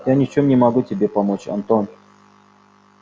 я ничем не могу тебе помочь антон